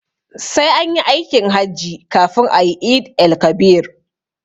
Sai anyi aikin hajji kafin ayi eid-el-kabir